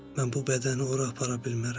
Mən bu bədəni ora apara bilmərəm.